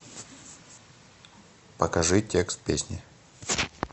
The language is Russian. покажи текст песни